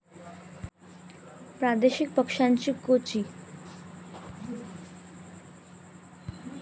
प्रादेशिक पक्षांची गोची